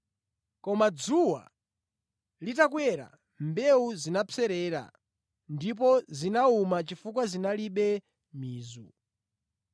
Koma dzuwa litakwera, mbewu zinapserera ndipo zinawuma chifukwa zinalibe mizu.